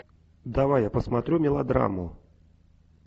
давай я посмотрю мелодраму